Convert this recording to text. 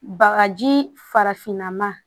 Bagaji farafinna ma